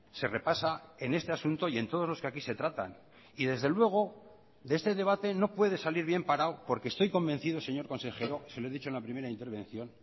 se repasa en este asunto y en todos los que aquí se tratan y desde luego de este debate no puede salir bien parado porque estoy convencido señor consejero se lo he dicho en la primera intervención